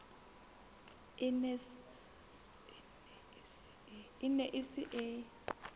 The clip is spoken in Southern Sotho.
e ne e se e